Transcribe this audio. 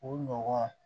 O nɔgɔ